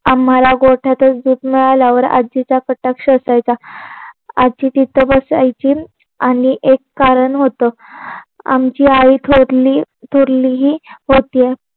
आम्हाला गोठ्यातच दूध मिळाल्यावर आजीचा कटाक्ष असायचा. आजी तिथं बसायची. आणि एक कारण होत. आमची आई थोरली थोरली ही होती.